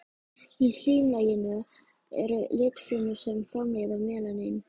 Í slímlaginu eru litfrumur sem framleiða melanín.